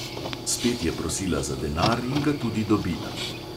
Spet je prosila za denar in ga tudi dobila.